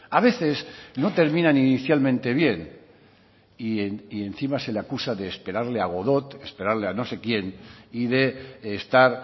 a veces no terminan inicialmente bien y encima se le acusa de esperarle a godot esperarle a no sé quién y de estar